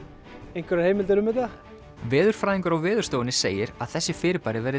einhverjar heimildir um þetta veðurfræðingur á Veðurstofunni segir að þessi fyrirbæri verði